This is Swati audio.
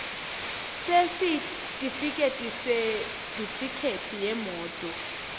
sesitifiketi seduplikhethi yemoti